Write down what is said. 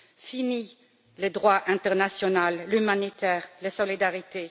Finis le droit international, l'humanitaire, la solidarité!